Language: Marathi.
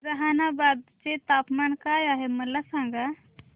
जहानाबाद चे तापमान काय आहे मला सांगा